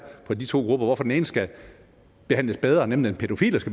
for de to grupper og hvorfor den ene skal behandles bedre nemlig den pædofile